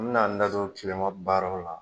An bɛ na an da don tilema baaraw la.